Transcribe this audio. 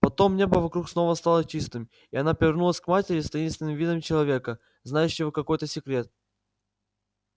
потом небо вокруг снова стало чистым и она повернулась к матери с таинственным видом человека знающего какой-то секрет